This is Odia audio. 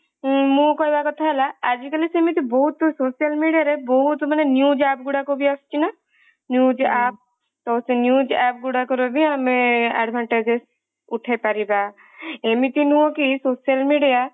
ମୁଁ କହିବା କଥା ହେଲା ଆଜି କଲି ସେମିତି ବହୁତ social media ରେ ବହୁତ news app ଗୁରକ ଆସୁଛି ନା news app ତ ସେଇ news app ଗୁଡାକର ବି ଆମେ advantages ଉଠେଇପାରିବା ଏମିତି ନୁହ କି social media